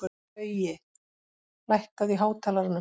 Baui, lækkaðu í hátalaranum.